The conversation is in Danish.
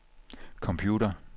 computer